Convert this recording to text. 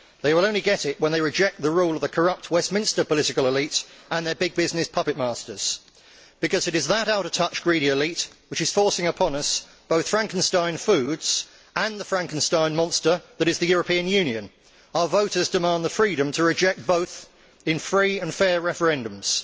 They will only get it when they reject the rule of the corrupt Westminster political elite and their big business puppet masters, because it is that out of touch greedy elite which is forcing upon us both Frankenstein foods and the Frankenstein monster that is the European Union. Our voters demand the freedom to reject both in free and fair referendums.